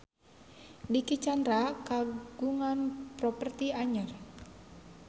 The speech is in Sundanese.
Dicky Chandra kagungan properti anyar